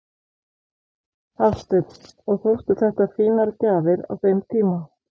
Hafsteinn: Og þóttu þetta fínar gjafir á þeim tíma?